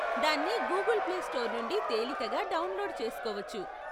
దాన్ని Google Play Store నుండి తేలికగా డౌన్లోడ్ చేసుకోవచ్చు.